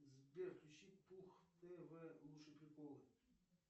сбер включи пух тв лучшие приколы